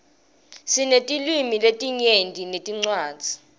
sinetilwimi letinyenti netincwadzi